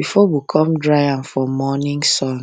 before we come dry am for morning sun